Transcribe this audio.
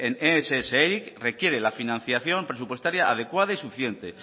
en ess eric requiere la financiación presupuestaria adecuada y suficiente